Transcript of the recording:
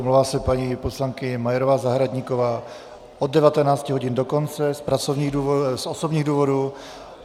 Omlouvá se paní poslankyně Majerová Zahradníková od 19 hodin do konce z osobních důvodů.